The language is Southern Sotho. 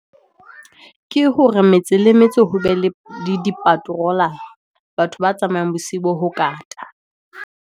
Ke hore metse le metse, ho be le dipaterolara. Batho ba tsamayang bosiu bo ho kata.